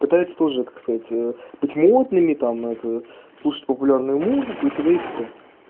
пытается тоже как сказать быть модными там это слушать популярную музыку и тд и тп